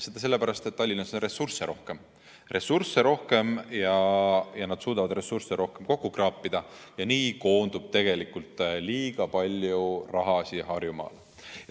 Seda sellepärast, et Tallinnas on ressursse rohkem, nad suudavad ressursse rohkem kokku kraapida ja nii koondub tegelikult liiga palju raha Harjumaale.